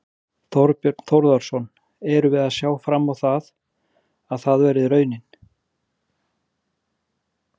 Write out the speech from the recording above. Þorbjörn Þórðarson: Erum við að sjá fram á það, að það verði raunin?